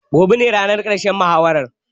Gobe ne ranar ƙarshen muhawarar